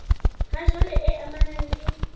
ha jwale e amanang le